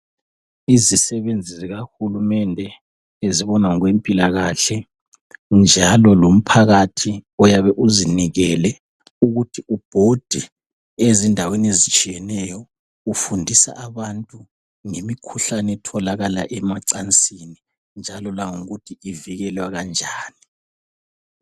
Izisebenzi zikaHulumende ezibona ngokwempilakahle, njalo lomphakathi oyabe uzinikele ukuthi ubhode ezindaweni ezitshiyeneyo ufundisa abantu ngemikhuhlane etholakala emacansini, njalo langokuthi ivikelwa kanjani.